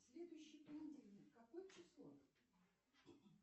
следующий понедельник какое число